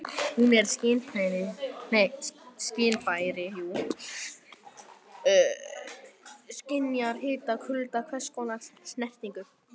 Hún er skynfæri- skynjar hita, kulda og hvers konar snertingu.